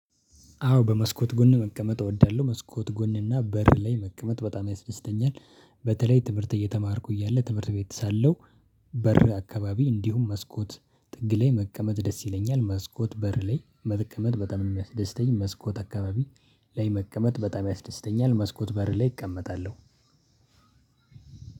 አዎ በመስኮት ጎን መቀመጥ እወዳለሁ መስኮት ጎን እና በር ላይ መቀመጥ በጣም ያስደስተኛል በተለይ ትምህርት እየተማርኩ እያለ ትምህርት ቤት ሳለሁ። በር አካባቢ እንዲሁም መስኮት ጥግ ላይ መቀመጥ ደስ ይለኛል። መስኮት በር ላይ መቀመጥ በጣም ነው የሚያስደስተኝ። መስኮት አካባቢ ላይ መቀመጥ በጣም ያስደስተኛል መስኮት በር ላይ እቀመጣለሁ።